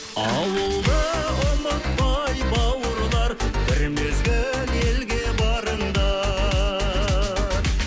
ауылды ұмытпай бауырлар бір мезгіл елге барыңдар